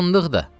Fındıq da.